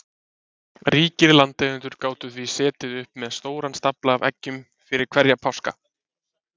Ríkir landeigendur gátu því setið uppi með stóran stafla af eggjum fyrir hverja páska.